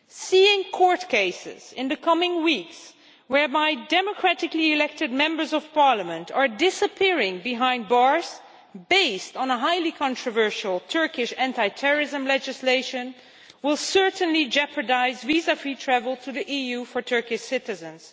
Seeing court cases in the coming weeks whereby democratically elected members of parliament are disappearing behind bars, based on a highly controversial Turkish anti terrorism legislation, will certainly jeopardise visa free travel to the EU for Turkish citizens.